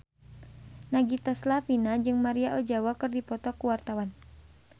Nagita Slavina jeung Maria Ozawa keur dipoto ku wartawan